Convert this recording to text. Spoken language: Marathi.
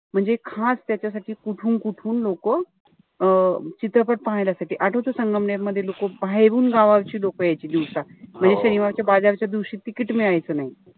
म्हणजे खास त्याच्यासाठी कुठून-कुठून लोकं अं चित्रपट पाहण्यासाठी, आठवत संगमनेर मध्ये लोकं बाहेरून गावावरची लोकं यायची दिवसा. म्हणजे शनिवारच्या बाजाराच्या दिवशी ticket मिळायचं नाई.